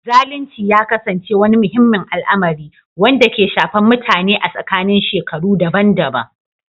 Zalunci ya ƙasance wani muhimmin al'amari, wanda ke shafar mutane a tsakanin shekaru daban-daban